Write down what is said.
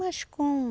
Mas como?